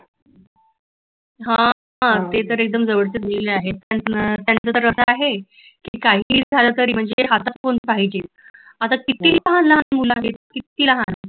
हा ते तर एकदम जवळचे आहेत त्याच तर आस आहे की काहीही झाल तरी म्हणजे हातात फौन पाहिजेच आता कितीही लहान लहान मुल आली कितीही लहान